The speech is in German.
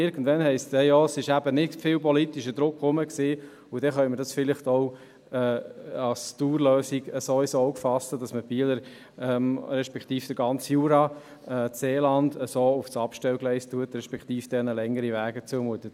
Irgendwann heisst es dann, es habe eben nicht viel politischen Druck gegeben, und dann können wir das vielleicht auch als Dauerlösung ins Auge fassen, sodass man die Bieler respektive den ganzen Jura und das Seeland so auf das Abstellgleis stellt, respektive ihnen längere Wege zumutet.